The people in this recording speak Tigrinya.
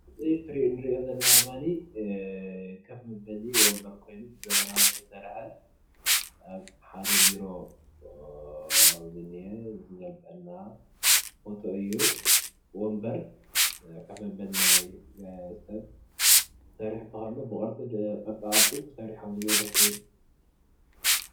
እዚ ንርኦ ዘለና ድማኒ ኮፍ መበሊ ወንበር ኮይኑ ብዘመናዊ ዝተሰረሓ ኣብ ሓደ ቢሮ ዝኒሀ ዝገልፀልና ፎቶ እዩ። ወንበር ኮፍ ናይ ሰብ ብቅርፃ ቅርፂ ተሰሪሑ ደስ ይብል።